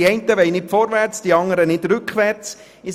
Die einen wollen nicht vorwärts, die anderen nicht rückwärtsgehen.